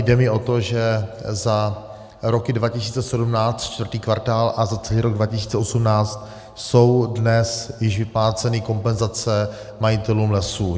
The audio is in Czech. Jde mi o to, že za roky 2017, čtvrtý kvartál, a za celý rok 2018 jsou dnes již vypláceny kompenzace majitelům lesů.